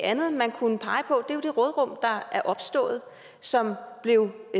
andet man kunne pege på er jo det råderum der er opstået og som blev